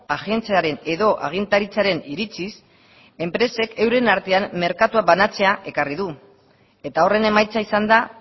agentziaren edo agintaritzaren iritziz enpresek euren artean merkatua banatzea ekarri du eta horren emaitza izan da